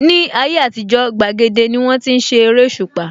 Ní ayé àtijó, gbàgede ní wón ti ń ṣe eréṣùpá